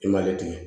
I m'ale di